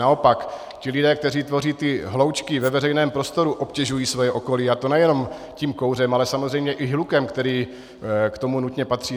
Naopak ti lidé, kteří tvoří ty hloučky ve veřejném prostoru, obtěžují svoje okolí, a to nejenom tím kouřem, ale samozřejmě i hlukem, který k tomu nutně patří.